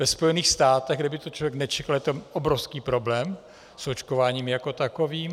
Ve Spojených státech, kde by to člověk nečekal, je tam obrovský problém s očkováním jako takovým.